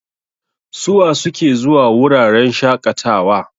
Suwa suke zuwa wuraren shaƙatawa?